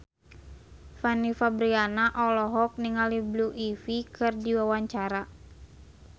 Fanny Fabriana olohok ningali Blue Ivy keur diwawancara